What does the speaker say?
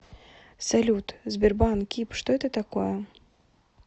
салют сбербанк киб что это такое